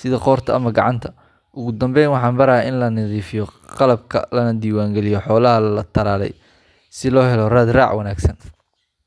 sida qoorta ama gacanta. Ugu dambeyn, waxaan barayaa in la nadiifiyo qalabka, lana diiwaangeliyo xoolaha la tallaalay si loo helo raad raac wanaagsan.